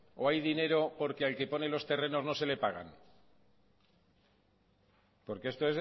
o hay dinero porque al que pone los terrenos no se le paga porque esto